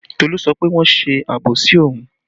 Tolu sọ pé wọ́n ń ṣe àbòsí òun